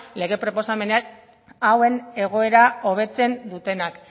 lege proposamenean hobetzen dutenak